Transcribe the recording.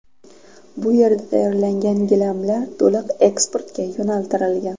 Bu yerda tayyorlangan gilamlar to‘liq eksportga yo‘naltirilgan.